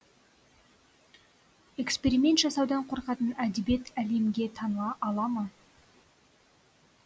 эксперимент жасаудан қорқатын әдебиет әлемге таныла ала ма